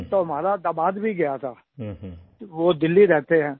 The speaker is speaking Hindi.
तो हमारा दामाद भी गया था वो दिल्ली रहते हैं